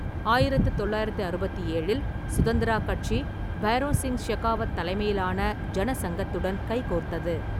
ஆயிரத்து தொள்ளாயிரத்து அறுபத்து ஏழில் சுதந்திரா கட்சி பைரோன் சிங் ஷெகாவத் தலைமையிலான ஜனசங்கத்துடன் கைகோர்த்தது.